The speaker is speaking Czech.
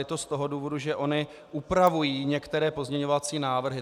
Je to z toho důvodu, že ony upravují některé pozměňovací návrhy.